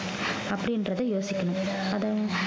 அப்படின்றதை யோசிக்கணும் அதை